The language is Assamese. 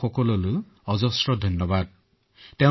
হয় মহোদয় এম্বুলেন্সত আহিলো